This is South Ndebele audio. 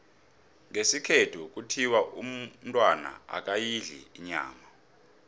ngesikhethu kuthiwa umntwana akayidli inyama